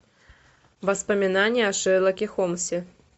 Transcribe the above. воспоминания о шерлоке холмсе